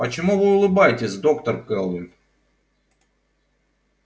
почему вы улыбаетесь доктор кэлвин